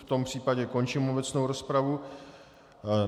V tom případě končím obecnou rozpravu.